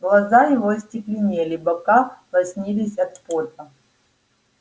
глаза его остекленели бока лоснились от пота